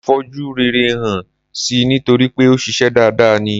Mo fojú rere hàn si nítorípé òṣìṣę dada ni.